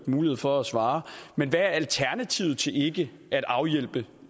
mulighed for at svare hvad alternativet til ikke at afhjælpe